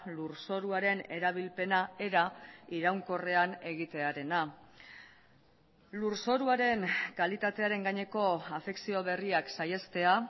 lurzoruaren erabilpena era iraunkorrean egitearena lurzoruaren kalitatearen gaineko afekzio berriak saihestea